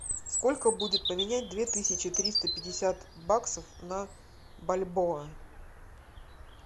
сколько будет поменять две тысячи триста пятьдесят баксов на бальбоа